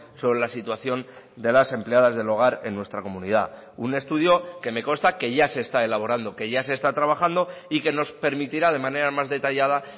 sobre la situación de las empleadas del hogar en nuestra comunidad un estudio que me consta que ya se está elaborando que ya se está trabajando y que nos permitirá de manera más detallada